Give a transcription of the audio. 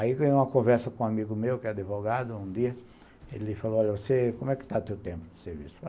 Aí ganhei uma conversa com um amigo meu, que é advogado, um dia, ele falou, olha, como é que está teu tempo de serviço?